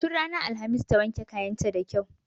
Tun ranar alhamis ta wanke kayan ta da kyau.